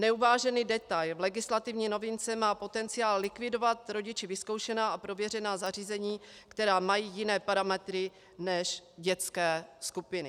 Neuvážený detail v legislativní novince má potenciál likvidovat rodiči vyzkoušená a prověřená zařízení, která mají jiné parametry než dětské skupiny.